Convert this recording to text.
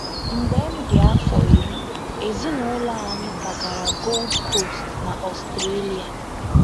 Mgbe m dị afọ iri, ezinụlọ anyị kwagara Gold Coast n’Ọstrélia.